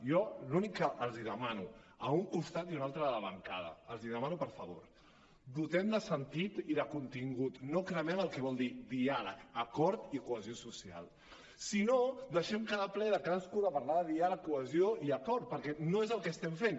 jo l’únic que els demano a un costat i a un altre de la bancada els demano si us plau dotem de sentit i de contingut no cremem el que vol dir diàleg acord i cohesió social sinó deixem cada ple cadascú parlar de diàleg cohesió i acord perquè no és el que estem fent